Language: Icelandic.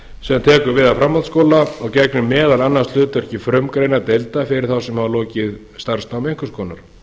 sem tekur við af framhaldsskóla og gegnir meðal annars hlutverki frumgreinadeilda fyrir þá sem hafa lokið starfsnámi einhvers konar